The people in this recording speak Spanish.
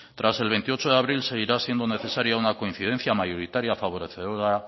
tras el veintiocho de abril seguirá siendo necesaria una coincidencia mayoritaria favorecedora